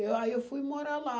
Eu, aí eu fui morar lá.